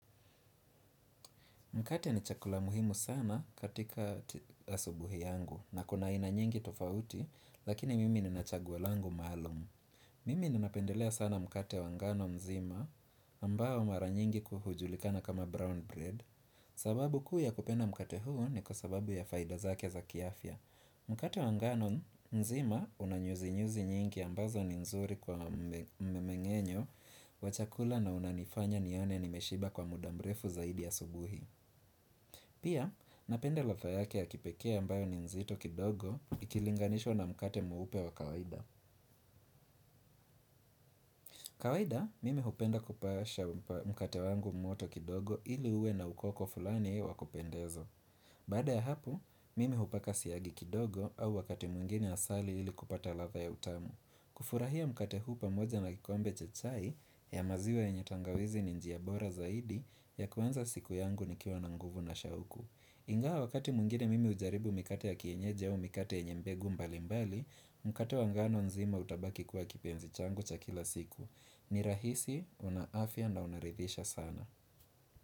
Mkate ni chakula muhimu sana katikat asubuhi yangu na kuna ina nyingi tofauti lakini mimi nina chaguo langu maalum. Hhh Mimi ninapendelea sana mkate wangano mzima ambao mara nyingi kuhujulikana kama brown bread. Sababu kuu ya kupenda mkate huu ni kusababu ya faida zake za kiafia. Hhh Mkate wangano mzima unanyuzi nyuzi nyingi ambaza ni nzuri kwa memengenyo wa chakula na unanifanya nione nimeshiba kwa muda mrefu zaidi asubuhi hhh Pia, napende ladha yake ya kipekea ambayo ni nzito kidogo ikilinganishwa na mkate mweupe wa kawaida. Kawaida, mimi hupenda kupasha mkate wangu moto kidogo ili ue na ukoko fulani wa kupendezo. Baada ya hapo, mimi hupaka siyagi kidogo au wakati mwingine asali ili kupata ladha ya utamu. Kufurahia mkate huu pamoja na kikombe cha chai ya maziwa yenye tangawizi ni njia bora zaidi ya kuanza siku yangu nikiwa na nguvu na shauku. Hhh ik Inga wakati mwingine mimi ujaribu mikate ya kienyeje u mikate yenye mbegu mbali mbali, mkate wangano nzima utabaki kuwa kipenzi changu cha kila siku. Ni rahisi, una afia na unarithisha sana.